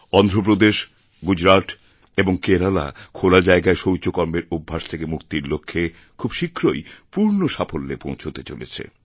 অন্ধ্রপ্রদেশ গুজরাত এবং কেরালা খোলা জায়গায় শৌচকর্মের অভ্যাস থেকে মুক্তিরলক্ষ্যে খুব শীঘ্রই পূর্ণ সাফল্যে পৌঁছতে চলেছে